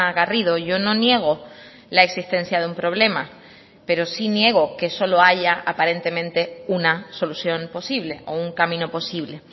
garrido yo no niego la existencia de un problema pero sí niego que solo haya aparentemente una solución posible o un camino posible